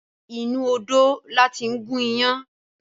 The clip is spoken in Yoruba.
Inú odó la tí ń gún iyán